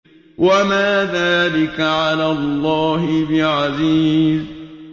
وَمَا ذَٰلِكَ عَلَى اللَّهِ بِعَزِيزٍ